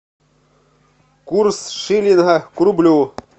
курс шиллинга к рублю